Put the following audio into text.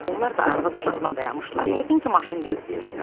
Onlar da arvad-uşaqla dayanmışdılar, yəqin ki, maşın gözləyirdilər.